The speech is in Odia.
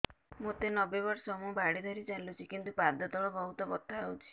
ମୋତେ ନବେ ବର୍ଷ ମୁ ବାଡ଼ି ଧରି ଚାଲୁଚି କିନ୍ତୁ ପାଦ ତଳ ବହୁତ ବଥା ହଉଛି